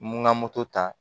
Mun ŋa moto ta